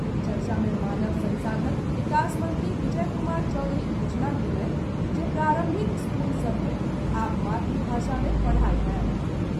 चर्चा मे मानव संसाधन विकास मंत्री विजय कुमार चौधरी घोषणा कयलनि जे प्रारंभिक स्कूल सभ मे आब मातृभाषा मे पढ़ाई होयत।